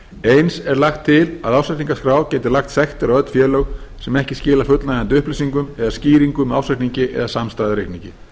eins er lagt til að ársreikningaskrá geti lagt sektir á öll félög sem ekki skila fullnægjandi upplýsingum eða skýringum með ársreikningi eða samstæðureikningi